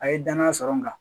A ye danaya sɔrɔ n kan